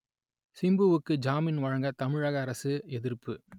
சிம்புவுக்கு ஜாமீன் வழங்க தமிழக அரசு எதிர்ப்பு